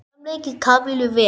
Samt leið Kamillu vel.